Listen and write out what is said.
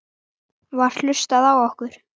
Var hlustað á okkur?